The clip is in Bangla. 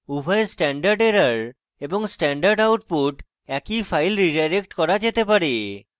উভয় stderr এবং stdout একই file রীডাইরেক্ট করা যেতে পারে